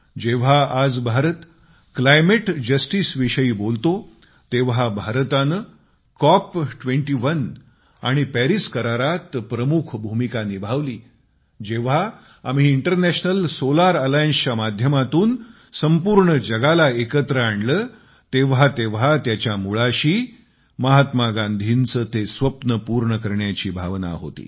जेव्हा आज Bharat climate justice विषयी बोलतो जेव्हा भारताने कॉप 21 आणि परीस करारात प्रमुख भूमिका निभावली जेव्हा आम्ही इनरनॅशनल सोलार एलियन्स च्या माध्यमातून संपूर्ण जगाला एकत्र आणले तेव्हा तेव्हा त्याच्या मुळाशी महात्मा गांधींचे ते स्वप्न पूर्ण करण्याची भावना होती